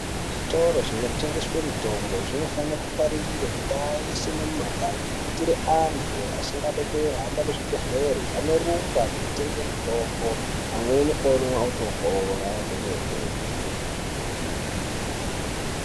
Zvitoro zvinotengeswe mitombo zvinofana kuparirire mundaa yese nemumagange. Kuitire antu asingadi kuhamba kuzvibhedhlera anorumba kunotenge mitombo amweni omwa otopora kwemene.